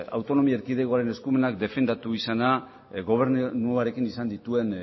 autonomia erkidegoaren eskumenak defendatu izana gobernuarekin izan dituen